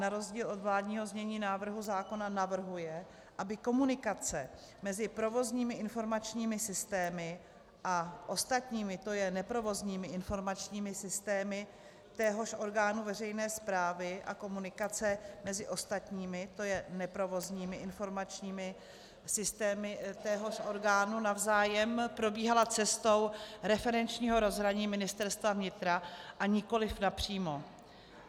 Na rozdíl od vládního znění návrhu zákona navrhuje, aby komunikace mezi provozními informačními systémy a ostatními, to je neprovozními informačními systémy téhož orgánu veřejné správy a komunikace mezi ostatními, to je neprovozními informačními systémy téhož orgánu navzájem, probíhala cestou referenčního rozhraní Ministerstva vnitra a nikoliv napřímo.